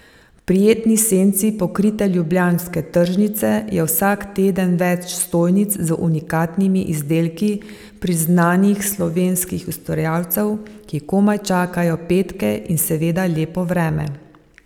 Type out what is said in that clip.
V prijetni senci pokrite ljubljanske tržnice je vsak teden več stojnic z unikatnimi izdelki priznanih slovenskih ustvarjalcev, ki komaj čakajo petke in seveda lepo vreme.